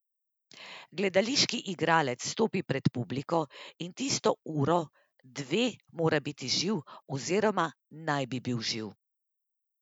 Gledališki igralec stopi pred publiko in tisto uro, dve mora biti živ oziroma naj bi bil živ.